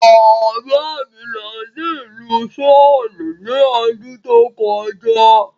Bàbá mi lọ sí ìlú Souel ní ọdún tó kọjá.